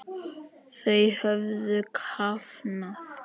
Þau höfðu kafnað.